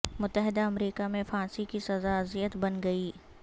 متحدہ امریکہ میں پھانسی کی سزا اذیت بن گئی